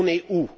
On est où?